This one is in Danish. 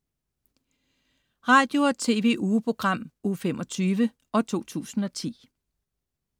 Radio- og TV-ugeprogram Uge 25, 2010